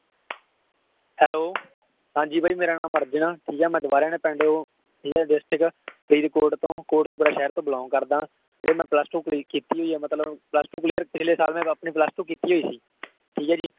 hello ਹਾਂਜੀ ਬਾਈ ਮੇਰਾ ਨਾਮ ਅਰਜਨ ਆ ਠੀਕ ਹੈ ਮੈਂ ਦ੍ਵਾਰਿਆਂ ਦੇ ਪਿੰਡ ਤੋਂ ਠੀਕ ਹੈ district ਫਰੀਦਕੋਟ ਤੋਂ ਕੋਟਕਪੂਰਾ ਸ਼ਹਿਰ ਤੋਂ belong ਕਰਦਾ ਵੀਰੇ ਮੈਂ plus two clear ਕੀਤੀ ਹੋਈ ਹੈ ਮਤਲਬ plus two clear ਪਿਛਲੇ ਸਾਲ ਮੈਂ ਅਪਨੀ two clear ਕੀਤੀ ਹੋਈ ਸੀ ਠੀਕ ਹੈ ਜੀ